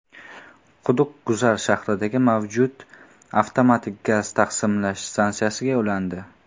Quduq Guzar shahridagi mavjud avtomatik gaz taqsimlash stansiyasiga ulandi.